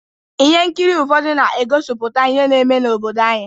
Ihe nkiri ụfọdụ na-egosipụta ihe na-eme n’obodo anyị.